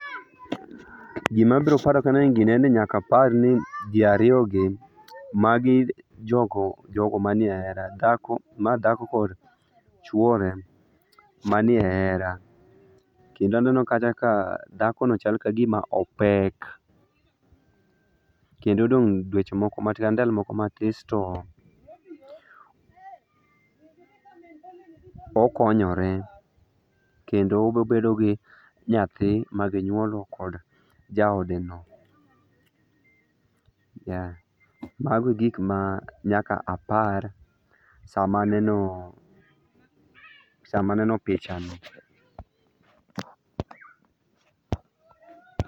Gima abiro paro ka aneno gini en ni nyaka aparni ji ariyogi magi jogo jogo manie hera dhako ma dhako kod chuore manie hera. Kendo aneno kacha ka dhakono chalka ka gima opek. Kendo odong' dweche moko matin kata ndalo moko matis to okonyore kendo obiro obedo gi nyathi magi nyuolo kod jaodeno. Ya mago egik ma nyaka apar sama anenoo sama aneno pichani.